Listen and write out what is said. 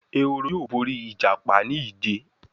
Ehoro yóò bóri ìjàpá ní ije.